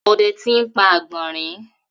ode ti n pa agbọnrin.